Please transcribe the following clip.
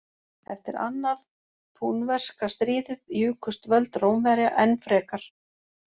Eftir annað púnverska stríðið jukust völd Rómverja enn frekar.